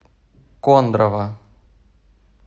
кондрово